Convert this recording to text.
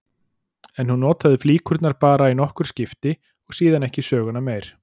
En hún notaði flíkurnar bara í nokkur skipti og síðan ekki söguna meir.